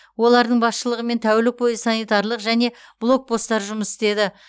олардың басшылығымен тәулік бойы санитарлық және блокпосттар жұмыс істеді